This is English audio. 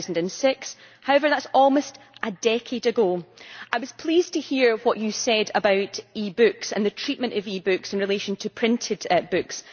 2006. However, that is almost a decade ago. I was pleased to hear what you said about e books and the treatment of e books in relation to printed books.